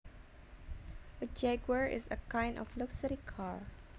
A jaguar is a kind of luxury car